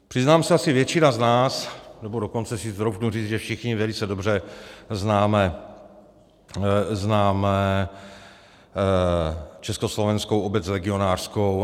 Přiznám se, asi většina z nás, nebo dokonce si troufnu říct, že všichni velice dobře známe Československou obec legionářskou.